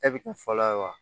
E bi kɛ fɔlɔ ye wa